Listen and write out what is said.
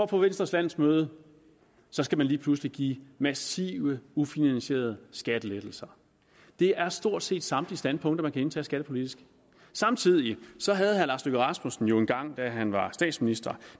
på venstres landsmøde skal man lige pludselig give massive ufinansierede skattelettelser det er stort set samtlige standpunkter der kan indtages skattepolitisk samtidig havde herre lars løkke rasmussen jo engang da han var statsminister